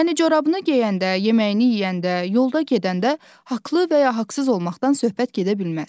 Yəni corabını geyəndə, yeməyini yeyəndə, yolda gedəndə haqlı və ya haqsız olmaqdan söhbət gedə bilməz.